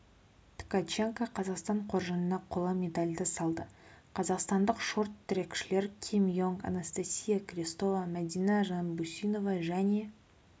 ткаченко қазақстан қоржынын қола медальды салды қазақстандық шорт-трекшілер ким йонг анастасия крестова мәдина жанбұсинова және